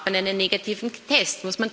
Braucht man einen negativen Test?